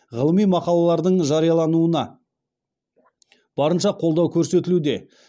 ғылыми мақалалардың жариялануына барынша қолдау көрсетілуде